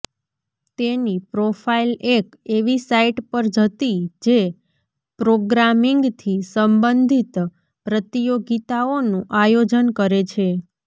તેની પ્રોફાઈલ એક એવી સાઈટ પર જતી જે પ્રોગ્રામિંગથી સંબંધીત પ્રતિયોગિતાઓનું આયોજન કરે છે